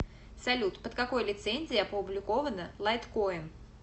салют под какой лицензией опубликовано лайткоин